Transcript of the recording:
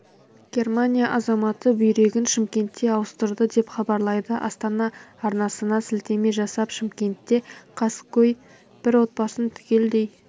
германия азаматы бүйрегін шымкентте ауыстырды деп хабарлайды астана арнасына сілтеме жасап шымкентте қаскөй бір отбасын түгелдей